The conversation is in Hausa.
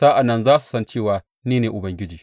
Sa’an nan za su san cewa ni ne Ubangiji.